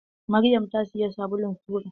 Maryam ta siyi sabulun tura.